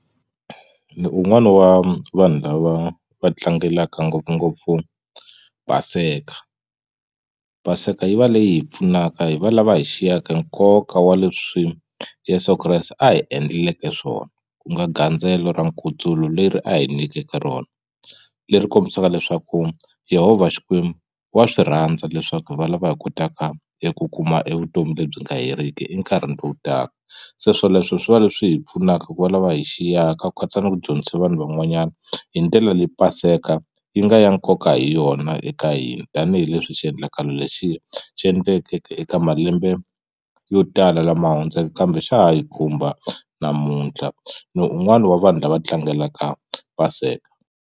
Ni un'wani wa vanhu lava va tlangelaka ngopfungopfu Paseka Paseka yi va leyi hi pfunaka hi valava hi xiyeke nkoka wa leswi Yeso Kreste a hi endleleke swona ku nga gandzelo ra nkutsulo leri a hi nyikeke rona leri kombisaka leswaku Yhovha Xikwembu wa swi rhandza leswaku hi valava hi kotaka eku kuma evutomi lebyi nga heriki e nkarhini lowu taka se swoleswo swi va leswi hi pfunaka ku va lava hi xiyeka ku katsa ni ku dyondzisa vanhu van'wanyana hi ndlela leyi paseka yi nga ya nkoka hi yona eka hina tanihileswi xiendlakalo lexiya xi endlekeke eka malembe yo tala lama hundzeke kambe xa ha hi khumba na namuntlha ni un'wana wa vanhu lava tlangelaka paseka.